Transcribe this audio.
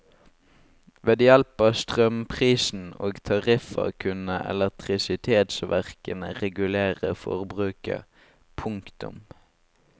Ved hjelp av strømprisen og tariffer kunne elektrisitetsverkene regulere forbruket. punktum